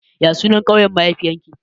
Ya sunan ƙauyen mahaifiyar ki?